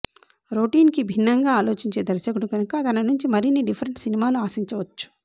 రొటీన్కి భిన్నంగా ఆలోచించే దర్శకుడు కనుక తననుంచి మరిన్ని డిఫరెంట్ సినిమాలు ఆశించవచ్చు